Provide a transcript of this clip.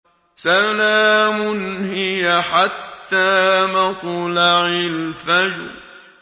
سَلَامٌ هِيَ حَتَّىٰ مَطْلَعِ الْفَجْرِ